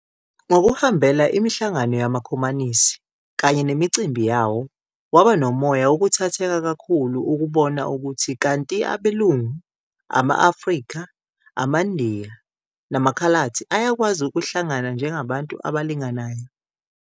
Ngokuhambela imihlangano yamakhomanisi kanye nemicimbi yawo, waba nomoya wokuthatheka kakhulu ukubona ukuthi kanti abelungu, Ama-Afrika, AmaNdiya namaKhaladi ayakwazi ukuhlangana njengabantu abalinganayo.